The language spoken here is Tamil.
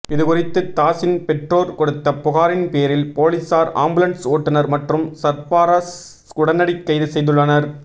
இது குறித்து தாஸின் பெற்றோர் கொடுத்த புகாரின் பேரில் பொலிசார் ஆம்புலன்ஸ் ஓட்டுனர் மற்றும் சர்பராஸ் உடினை கைது செய்துள்ளனர்